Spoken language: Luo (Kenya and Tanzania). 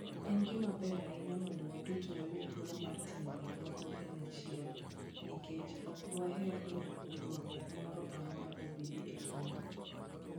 En gima ber ahinya mondo waduto wayud thuolo mar timo gik moko kanyachiel, nikech ok dwaher ni ywaruok moro amora obedie e kindwa.